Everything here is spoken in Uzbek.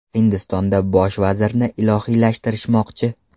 Hindistonda bosh vazirni ilohiylashtirishmoqchi.